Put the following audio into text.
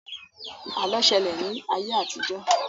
Àlọ́ ṣẹlẹ̀ ní ayé àtijọ́